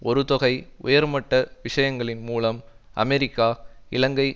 ஒரு தொகை உயர்மட்ட விஷயங்களின் மூலம் அமெரிக்கா இலங்கை